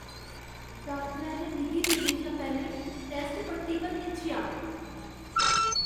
डाक्टरै ने मिगी देने शा पैह्लें टैस्ट पट्टी पर निच्छेआ।